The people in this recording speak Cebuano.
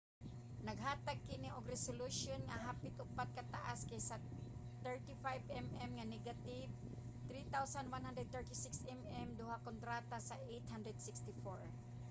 naghatag kini og resolution nga hapit upat kataas kaysa sa 35 mm nga negative 3136 mm2 kontra sa 864